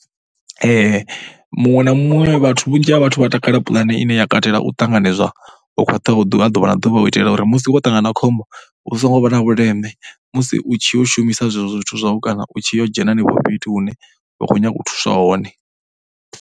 Muṅwe na muṅwe, vhunzhi ha vhathu vha takalela pulane ine ya katela u ṱanganedzwa ho khwaṱhaho ha ḓuvha na ḓuvha. U itela uri musi vho ṱangana na khombo hu songo vha na vhuleme, musi u tshi yo shumisa zwezwo zwithu zwau kana u tshi yo dzhena hanefho fhethu hune wa khou nyaga u thusiwa hone.